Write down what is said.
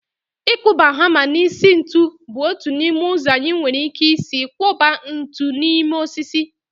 Ịkụba hama n'isi ntu bụ otu n'ime ụzọ anyị nwere ike isi kwọba ntu n'ime osisi